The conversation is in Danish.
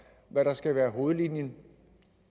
hvad der skal være hovedlinjen